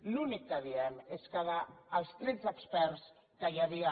l’únic que diem és que dels tretze experts que hi havia